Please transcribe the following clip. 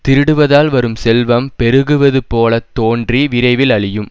திருடுவதால் வரும் செல்வம் பெருகுவது போல தோன்றி விரைவில் அழியும்